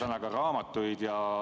Palun küsimus!